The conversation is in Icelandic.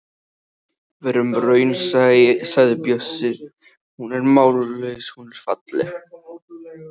Verum raunsæ, sagði Bjössi, hún er mállaus, hún er falleg.